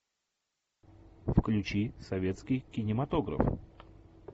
включи советский кинематограф